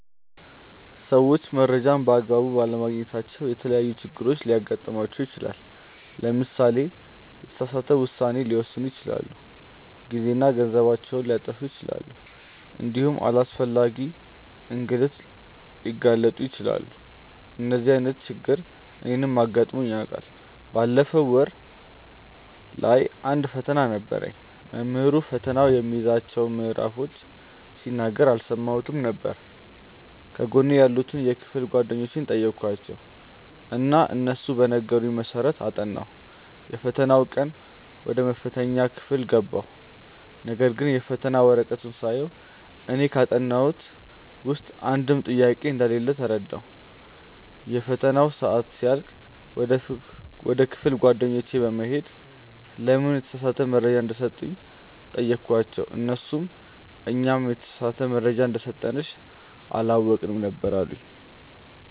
ሰዎች መረጃን በ አግባቡ ባለማግኘታቸው የተለያዪ ችግሮች ሊገጥማቸው ይችላል። ለምሳሌ የተሳሳተ ውሳኔ ሊወስኑ ይችላሉ፣ ጊዜና ገንዘባቸውን ሊያጠፉ ይችላሉ እንዲሁም ለአላስፈላጊ እንግልት ሊጋለጡ ይችላሉ። እንደዚህ አይነት ችግር እኔንም አጋጥሞኝ ያውቃል። ባለፈው ወር ላይ አንድ ፈተና ነበረኝ። መምህሩ ፈተናው የሚይዛቸውን ምዕራፎች ሲናገር አልሰማሁትም ነበር። ከጎኔ ያሉትን የክፍል ጓደኞቼን ጠየኳቸው እና እነሱ በነገሩኝ መሰረት አጠናሁ። የፈተናው ቀን ወደ መፈተኛ ክፍል ገባሁ ነገርግን የፈተና ወረቀቱን ሳየው እኔ ካጠናሁት ውስጥ አንድም ጥያቄ እንደሌለ ተረዳሁ። የፈተናው ሰአት ሲያልቅ ወደ ክፍል ጓደኞቼ በመሄድ ለምን የተሳሳተ መረጃ እንደሰጡኝ ጠየኳቸው እነርሱም "እኛም የተሳሳተ መረጃ እንደሰጠንሽ አላወቅንም ነበር አሉኝ"።